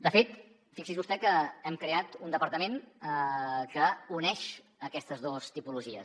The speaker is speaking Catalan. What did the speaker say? de fet fixi’s vostè que hem creat un departament que uneix aquestes dues tipologies